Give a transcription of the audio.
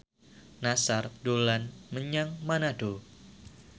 Nassar dolan menyang Manado